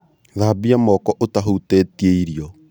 Thambia moko ũtahutĩtie irio